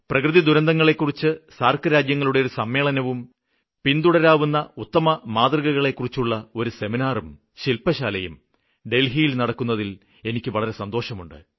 പ്രകൃതിദുരന്തങ്ങളെക്കുറിച്ച് SAARC രാജ്യങ്ങളുടെ ഒരു സമ്മേളനവും പിന്തുടരാവുന്ന ഉത്തമമാതൃകകളെ കുറിച്ചുള്ള ഒരു സെമിനാറും ശില്പശാലയും ഡല്ഹിയില് നടക്കുന്നതില് എനിക്ക് വളരെ സന്തോഷമുണ്ട്